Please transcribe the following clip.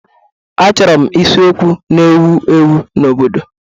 Achọrọ m isiokwu na-ewu ewu n'obodo